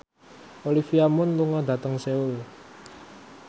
Olivia Munn lunga dhateng Seoul